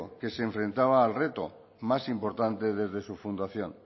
que se enfrentaba al reto más importante desde su fundación